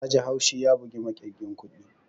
Yaji haushi ya bugi makirgin kuɗin